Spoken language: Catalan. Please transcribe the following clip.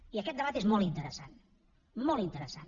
i aquest debat és molt interessant molt interessant